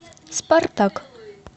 спартак